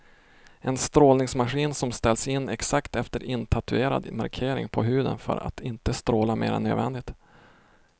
En strålningsmaskin som ställs in exakt efter intatuerade markeringar på huden för att inte stråla mer än nödvändigt.